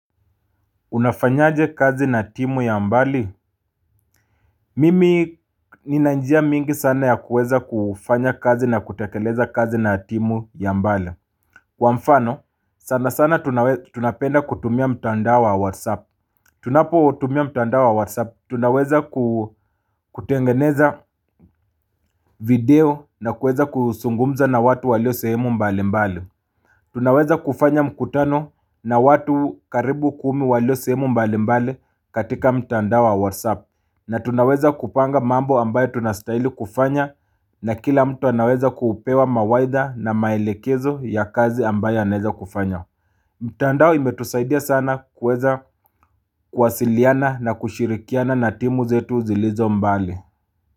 Unafanyaje kazi na timu ya mbali? Mimi nina njia mingi sana ya kuweza kufanya kazi na kutekeleza kazi na timu ya mbali. Kwa mfano, sana sana tunapenda kutumia mtandao wa whatsapp. Tunapotumia mtandao wa whatsapp, tunaweza kutengeneza video na kuweza kusungumza na watu walio sehemu mbali mbali. Tunaweza kufanya mkutano na watu karibu kumi walio sehemu mbali mbali katika mtandao wa whatsapp. Na tunaweza kupanga mambo ambaye tunastaili kufanya na kila mtu anaweza kupewa mawaidha na maelekezo ya kazi ambaye anaweza kufanya mtandao imetusaidia sana kuweza kuwasiliana na kushirikiana na timu zetu zilizo mbali.